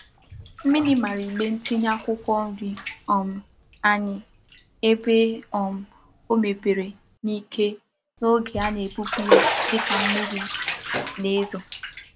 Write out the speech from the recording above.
Mmiri mara igbe ntinye akwukwo nri um anyi ebe um o mepere n'ike n'oge a na-ebupu ya dika mmiri um na-ezo.